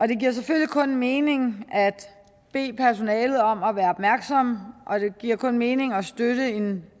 det giver selvfølgelig kun mening at bede personalet om at være opmærksomme og det giver kun mening at støtte en